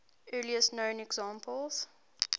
earliest known examples